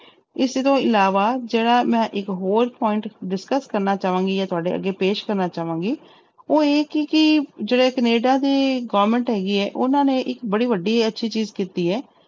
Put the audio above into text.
ਇਸ ਤੋਂ ਇਲਾਵਾ ਜਿਹੜਾ ਮੈਂ ਇੱਕ ਹੋਰ point discuss ਕਰਨਾ ਚਾਵਾਂਗੀ ਜਾਂ ਤੁਹਾਡੇ ਅੱਗੇ ਪੇਸ਼ ਕਰਨਾ ਚਾਵਾਂਗੀ, ਉਹ ਇਹ ਸੀ ਕਿ ਜਿਹੜੇ ਕੈਨੇਡਾ ਦੇ government ਹੈਗੀ ਹੈ ਉਹਨਾਂ ਨੇ ਇੱਕ ਬੜੀ ਵੱਡੀ ਅੱਛੀ ਚੀਜ਼ ਕੀਤੀ ਹੈ,